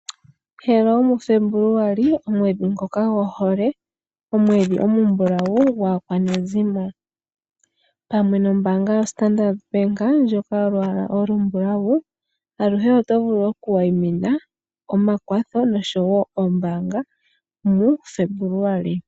Hello mu Febuluali, omweedhi ngoka gohole, omweedhi omumbulawu gwaakwanezimo, pamwe nombaanga yo Standard bank ndjoka yolwaala olumbulawu aluhe oto vulu oku wayimina omakwatho noshowo ombaanga mu Febuluali.